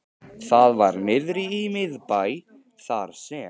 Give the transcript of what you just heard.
Það var niðri í miðbæ, þar sem